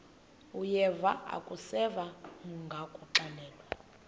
uyeva akuseva ngakuxelelwa